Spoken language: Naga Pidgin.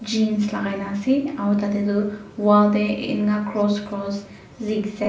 Jean's lakai kena ase aro tate tu wall tey enka cross cross zikzak.